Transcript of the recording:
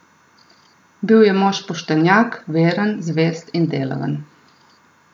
Bil je mož poštenjak, veren, zvest in delaven.